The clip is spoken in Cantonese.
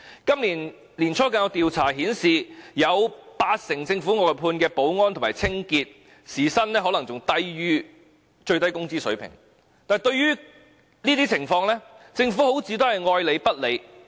今年年初更有調查顯示，有八成政府外判的保安和清潔員工的時薪更可能低於最低工資水平，但對於這些情況，政府好像愛理不理。